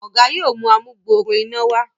Oga yóò mú amugbooro iná wá.